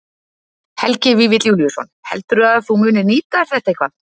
Helgi Vífill Júlíusson: Heldurðu að þú munir nýta þér þetta eitthvað?